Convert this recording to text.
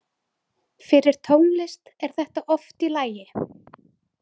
Fyrir tónlist er þetta oft í lagi.